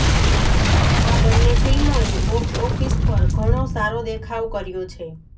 આ બંને ફિલ્મોએ બોક્સ ઓફિસ પર ઘણો સારો દેખાવ કર્યો છે